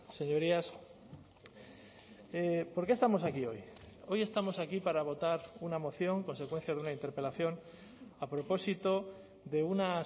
señorías por qué estamos aquí hoy hoy estamos aquí para votar una moción consecuencia de una interpelación a propósito de una